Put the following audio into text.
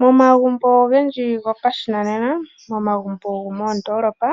Momagumbo ogendji gopashinanena, momagumbo gomoodoolopa